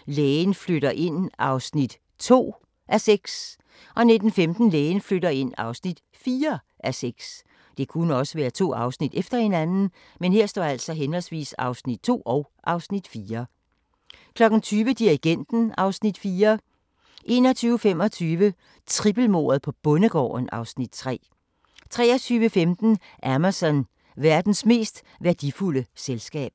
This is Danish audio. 18:30: Lægen flytter ind (2:6)* 19:15: Lægen flytter ind (4:6) 20:00: Dirigenten (Afs. 4) 21:25: Trippelmordet på bondegården (Afs. 3) 23:15: Amazon – verdens mest værdifulde selskab